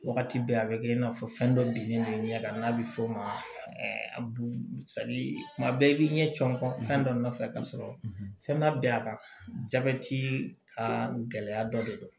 Wagati bɛɛ a bɛ kɛ i n'a fɔ fɛn dɔ bilen do i ɲɛ kan n'a bɛ fɔ o ma tuma bɛɛ i b'i ɲɛ cɔ fɛn dɔ nɔfɛ ka sɔrɔ fɛn ma bɛn a kan jabɛti ka gɛlɛya dɔ de don